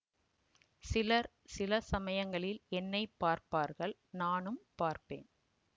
சிலர் சில சமயங்களில் என்னை பார்ப்பார்கள்நானும் பார்ப்பேன்